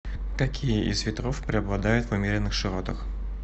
какие из ветров преобладают в умеренных широтах